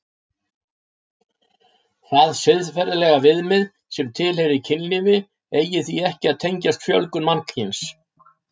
Það siðferðilega viðmið sem tilheyri kynlífi eigi því ekki að tengjast fjölgun mannkyns.